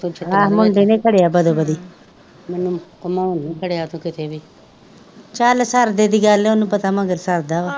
ਆ ਮੁੰਡੇ ਨੇ ਖੜਿਆ ਵੱਧੋ ਵਧੀ ਚੱਲ ਸਰਦੇ ਦੀ ਗੱਲ ਵਾਂ ਓਨੁ ਪਤਾ ਮਗਰ ਸਰਦਾ ਵਾਂ,